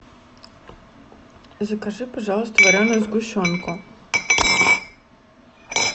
закажи пожалуйста вареную сгущенку